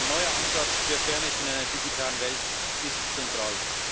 Ein neuer Ansatz für Fairness in einer digitalen Welt ist zentral.